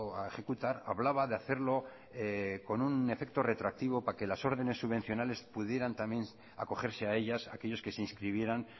a ejecutar hablaba de hacerlo con un efecto retroactivo para que las órdenes subvencionales pudieran también acogerse a ellas aquellos que se inscribieran